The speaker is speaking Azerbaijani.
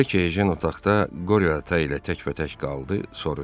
Elə ki, Ejen otaqda Qore ata ilə təkbətək qaldı, soruşdu: